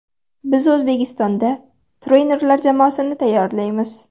Biz O‘zbekistonda trenerlar jamoasini tayyorlaymiz.